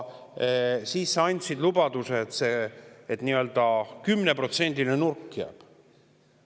Siis sa andsid lubaduse, et see 10%‑line nurk jääb.